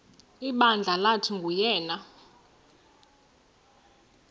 ibandla lathi nguyena